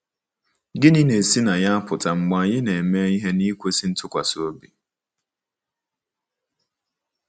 Gịnị na-esi na ya apụta mgbe anyị ‘ na-eme ihe n’ikwesị ntụkwasị obi ’?